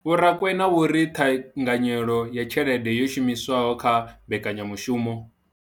Vho Rakwena vho ri ṱhanganyelo ya tshelede yo shumiswaho kha mbekanya mushumo.